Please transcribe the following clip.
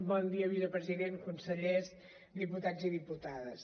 bon dia vicepresident consellers diputats i diputades